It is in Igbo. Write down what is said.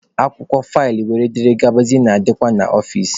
Akwụkwọ, faịlụ wdg na-adịkwa n'ọfici.